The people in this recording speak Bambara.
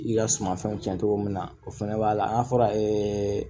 I ka sumanfɛnw cɛn cogo min na o fɛnɛ b'a la an fɔra ee